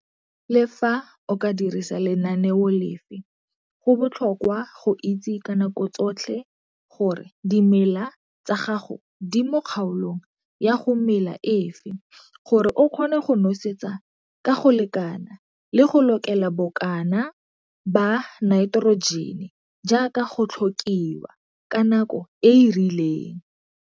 Le fa o ka dirisa lenaneo lefe go botlhokwa go itse ka nako tsotlhe gore dimela tsa gago di mo kgaolong ya go mela efe gore o kgone go nosetsa ka go lekana le go lokela bokana ba naiterojene jaaka go tlhokiwa ka nako e e rileng.